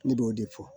Ne b'o de fɔ